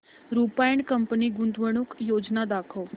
Rupa and company गुंतवणूक योजना दाखव